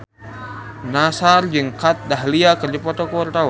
Nassar jeung Kat Dahlia keur dipoto ku wartawan